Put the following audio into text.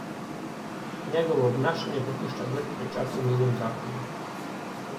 Njegovo obnašanje pa pušča grd pečat v njunem zakonu.